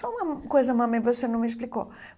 Só uma coisa, mami, você não me explicou.